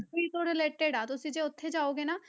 ਤੋਂ related ਆ, ਤੁਸੀਂ ਜੇ ਉੱਥੇ ਜਾਓਗੇ ਨਾ,